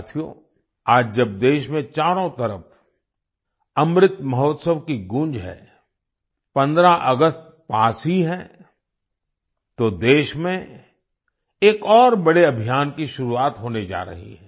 साथियो आज जब देश में चारों तरफ अमृत महोत्सव की गूँज है 15 अगस्त पास ही है तो देश में एक और बड़े अभियान की शुरुआत होने जा रही है